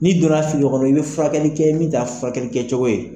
N'i donna a kɔnɔ i bɛ furakɛli kɛ min t'a furakɛlikɛcogo ye.